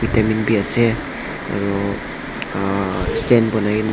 bi ase aro ahh stand banai kae na--